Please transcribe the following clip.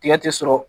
Tigɛ ti sɔrɔ